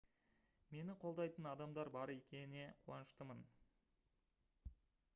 мені қолдайтын адамдар бар екене қуаныштымын